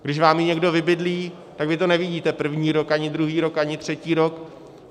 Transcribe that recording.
Když vám ji někdo vybydlí, tak vy to nevidíte první rok, ani druhý rok, ani třetí rok.